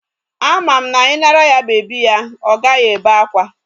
Ama m na I nara ya bebi ya, Ọ gaghị ébé akwa.